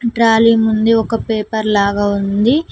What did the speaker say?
Trolley ఉంది ఒక paper లాగా ఉంది.